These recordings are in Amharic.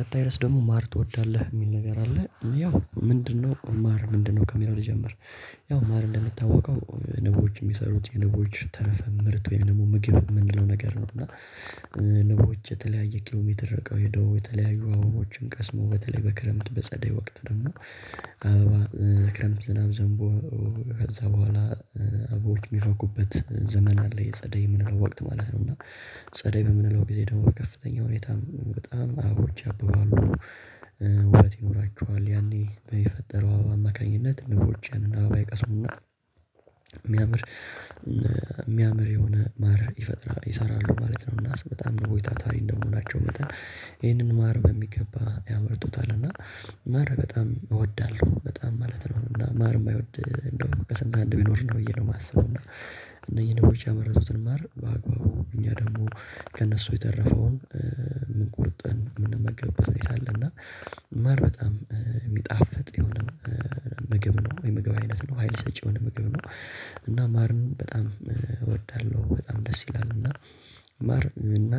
ቀጣይ ርዕስ ደግሞ ማር ትወዳለህ የሚል ነገር አለ ያው ምንድነው ማር ምንድነው ከሚለው ልጀምር ያው ማር እንደምታወቀው ንቦች የሚሰሩት የንቦች ተረፈ ምርት ወይም ደግሞ ምግብ የምንለው ነገር ነው እና ንቦች የተለያየ ኪሎሜትር ርቀው ሄደው የተለያየ አበቦችን ቀስሞ በተለይ በክረምት በጸደይ ወቅት ደግሞ አበባ ክረምት ዝናብ ዘንቦ ከዛ በኋላ አበቦዎች የሚፈኩበት ዘመን አለ የጸደይ የምንለው ወቅት ማለት ነው እና ጸደይ በምንለው ጊዜ ደግሞ በከፍተኛ ሁኔታ በጣም አበቦች ያብባሉ ውበት ይኖራቸዋል ያኔ በፈጠረው አማካኝነት ንቦችን ያንን አበባ ይቀስሙና የሚያምር የሚያምር የሆነ ማርን ይፈጥራሉ ይሰራሉ ማለት ነው እና በጣም ንቦች ታታሪ እንደመሆናቸው መጠን ይህንን ማር በሚገባ ያመርቱታል እና ማር በጣም እወዳለሁ በጣም ማለት ነው እና ማር የማይወድ እንደውም ከስንት አንድ ቢኖር ነው ብዬ ነው የማስበው እና እነኚ ንቦች ያመረቱትን ማር በአግባቡ እኛ ደግሞ ከእነሱ የተረፈውን ቆርጠን የምንመገብበት ሁኔታ አለና ማር በጣም የሚጣፍጥ የሆነ ምግብ ነው የምግብ አይነት ነው ሀይል ሰጪ የሆነ ምግብ ነው እና ማርን በጣም እወዳለሁ በጣም ደስ ይላል እና እና ማር እና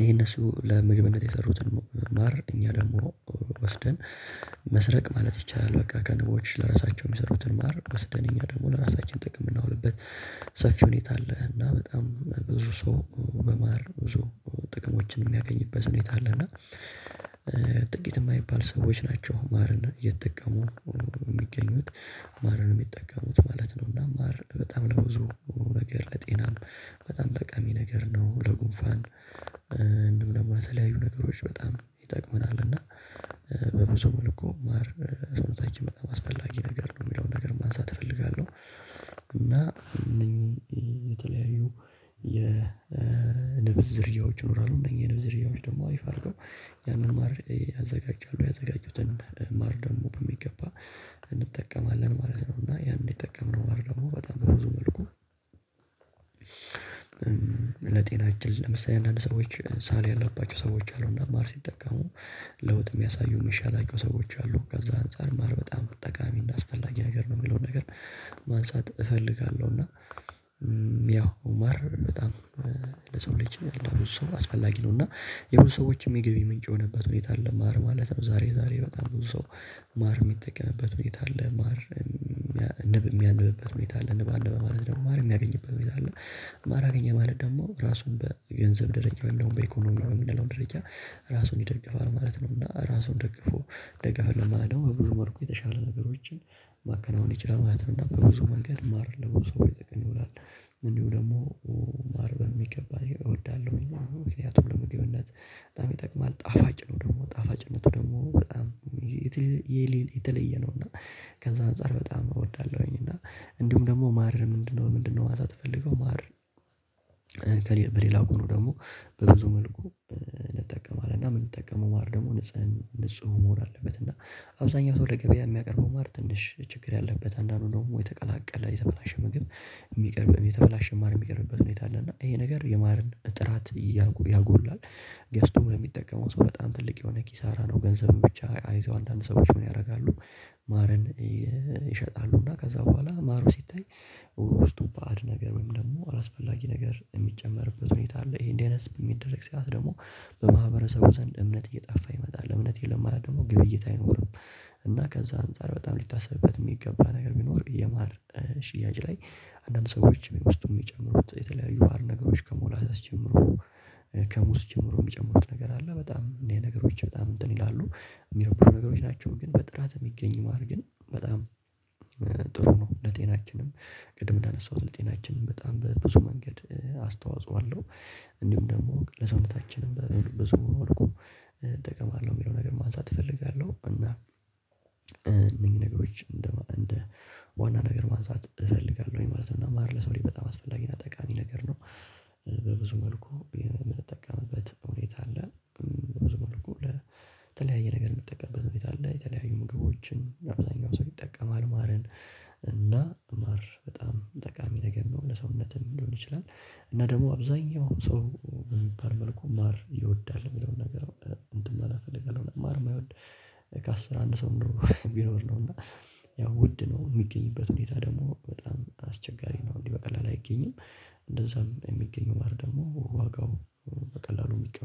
ይሄ እነሱ ለምግብነት የሰሩትን ማር እኛ ደግሞ ወስደን መስረቅ ማለት ይቻላል በቃ ከንቦች ለራሳቸው የሚሰሩትን ማር ወስደን እኛ ደግሞ ለራሳችን ጥቅም የምናውልበት ሰፊ ሁኔታ አለ እና በጣም ብዙ ሰው በማር ብዙ ጥቅሞችን የሚያገኝበት ሁኔታ አለና ጥቂት የማይባል ሰዎች ናቸው ማርን እየተጠቀሙ የሚገኙት ማርን የሚጠቀሙት ማለት ነው እና ማር በጣም ለብዙ ነገር ለጤናም በጣም ጠቃሚ ነገር ነው ለጉንፋን እንዲሁም ደግሞ ለተለያዩ ነገሮች በጣም ይጠቅመናል እና በብዙ መልኩ ማር ለሰውነታችን አስፈላጊ ነገር ነው የሚለውን ነገር ማንሳት እፈልጋለሁ እና እነኚህ የተለያዩ የንብ ዝርያዎች ይኖራሉ እነኚህ የንብዝ ዝርያዎች ደግሞ አሪፍ አድርገው ያንን ማር ያዘጋጃሉ ያዘጋጁትን ማር ደግሞ በሚገባ እንጠቀማለን ማለት ነው እና ያን የተጠቀመው ማር ደግሞ በጣም በብዙ መልኩ ለጤናችን ለምሳሌ አንዳንድ ሰዎች ሳል ያላባቸው ሰዎች አሉና ማር ሲጠቀሙ ለውጥ የሚያሳዩ የሚሻላቸው ሰዎች አሉ ከዛ አንፃር ማር በጣም ጠቃሚና አስፈላጊ ነገር ነው የሚለውን ነገር ማንሳት እፈልጋለሁ እና ያው ማር በጣም ለሰው ልጅ ያለ ብዙ ሰው አስፈላጊ ነው እና የብዙ ሰዎችም የገቢ ምንጭ የሆነበት ሁኔታ ለማር ማለት ነው ዛሬ ዛሬ በጣም ብዙ ሰው ማር የሚጠቀምበት ሁኔታ አለ ማር የሚያነብበት ሁኔታ አለ በአንድ በማለት ደግሞ ማር የሚያገኝበት ሁኔታ ማር አገኘ ማለት ደግሞ ራሱን በገንዘብ ደረጃ አለው በኢኮኖሚ የሚለውን ደረጃ ራሱን ይደግፋል ማለት ነው እና ራሱን ደግፎ ደጋፍለው ማለት ነው ብዙ መልኩ የተሻለ ነገሮችን ማከናወን ይችላል ማለት ነው እና በብዙ መንገድ ማር ለውጥ ይደግም ይላል እንዲሁ ደግሞ ማር በሚገባ እወዳለሁኝ ምክንያቱም ለምግብነት በጣም ይጠቅማል ጣፋጭ ነው ደግሞ ጣፋጭነቱ ደግሞ በጣም የተለየ ነው እና ከዛ አንፃር በጣም እወዳለሁኝ እና እንዲሁም ደግሞ ማርን ምንድነው ምንድነው ማንሳት ፈልገው ማር በሌላ ጎኑ ደግሞ በብዙ መልኩ እንጠቀማለን እና የምንጠቀመው ማር ደግሞ ንጹህ ንጹህ መሆን አለበት እና አብዛኛው ሰው ገበያ የሚያቀርበው ማር ትንሽ ችግር ያለበት አንዳንዱ ደግሞ የተቀላቀለ የተበላሸ ምግብ የሚቀርብ የተበላሽ ማር የሚቀርብበት ሁኔታ አለ እና ይሄ ነገር የማርን ጥራት ያጎላል ገዝቶ የሚጠቀመው ሰው በጣም ትልቅ የሆነ ኪሳራ ነው ገንዘብን ብቻ አይተው አንዳንድ ሰዎች ምን ያደርጋሉ ማርን ይሸጣሉ እና ከዛ በኋላ ማሩ ሲታይ ውስጡ ባዕድ ነገር ወይም ደግሞ አላስፈላጊ ነገር የሚጨመርበት ሁኔታ አለ ይሄ እንደዚህ አይነት የሚደረግ ሰዓት ደግሞ በማህበረሰቡ ዘንድ እምነት እየጠፋ ይመጣል እምነት የለም ወይም ድግሞ ግብይት አይኖርም እና ከዛ አንፃር በጣም ሊታሰብበት የሚገባ ነገር ቢኖር የማር ሽያጭ ላይ አንዳንድ ሰዎች ውስጥ የሚጨምሩት የተለያዩ አር ነገሮች ከሞላ ስትጀምሩ ከሙስ ጀምሮ የሚጨምሩት ነገር አለ በጣም እኔ ነገሮች በጣም እንትን ይላሉ የሚሮብሩ ነገሮች ናቸው ግን በጥራት የሚገኝ ማድረግ ግን በጣም ጥሩ ነው ለጤናችንም ቅድም እንዳነሳሁት ለጤናችንም በጣም በብዙ መንገድ አስተዋጽኦ አለው እንዲሁም ደግሞ ለሰውነታችንም በብዙ መልኩ እጠቀማለሁ የሚለውን ነገር ማንሳት እፈልጋለሁ እና እነኚን ነገሮች እንደ ዋና ነገር ማንሳት እፈልጋለሁኝ ማለት ነው ማር ለሰው ልጅ በጣም አስፈላጊ እና ጠቃሚ ነገር ነው። በብዙ መልኩ የምንጠቀምበት ሁኔታ አለ በብዙ መልኩ ለተለያየ ነገር የምትጠቀምበት ሁኔታ አለ የተለያዩ ምግቦችን አብዛኛው ሰው ይጠቀማል ማርን እና ማር በጣም ጠቃሚ ነገር ነው ለሰውነትህ ሊሆን ይችላል እና ደግሞ አብዛኛው ሰው የሚባል መልኩ ማር ይወዳል የሚለውን ነገር እንትን ማለት እፈልጋለሁ ማር የማይወድ ከአስር አንድ ሰው ነው ቢኖር ነው እና ያው ውድ ነው የሚገኝበት ሁኔታ ደግሞ በጣም አስቸጋሪ ነው እንዲህ በቀላል አይገኝም እንደዛም የሚገኙ ማር ደግሞ ዋጋው በቀላሉ የሚቀርብ